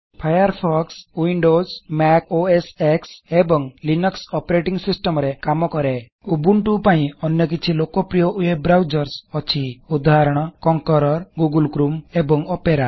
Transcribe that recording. Firefox Windows MSC OS X ଏବଂ Linux operating ସିଷ୍ଟମରେ କାମ କରେ ଉବଣ୍ଟୁ ପାଇଁ ଅନ୍ୟ କିଛି ଲୋକପ୍ରିୟ ୱେବ୍ ବ୍ରାଉଜର୍ସ ଅଛି ଉଦାହରଣ କଙ୍କରର ଗୁଗଲ୍ କ୍ରୋମ୍ ଏବଂ ଓପେରା